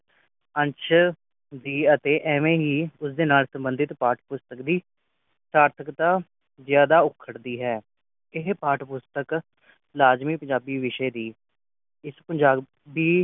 ਅੰਸ਼ ਦੀ ਅਤੇ ਐਵੇ ਹੀ ਉਸ ਦੇ ਨਾਲ ਸੰਬੰਧਿਤ ਪਾਠ ਪੁਸਤਕ ਦੀ ਸਾਰਧਕਤਾ ਜਿਆਦਾ ਉਖਰਦੀ ਹੈ ਅਤੇ ਇਹ ਪਾਠ ਪੁਸਤਕ ਲਾਜਮੀ ਪੰਜਾਬੀ ਵਿਸ਼ੇ ਦੀ